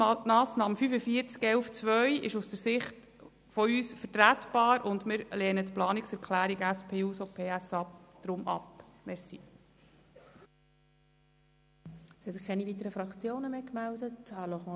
Die Massnahme 45.11.2 ist aus Sicht der EVP vertretbar, und wir lehnen die Planungserklärung der SP-JUSO-PSAFraktion deshalb ab.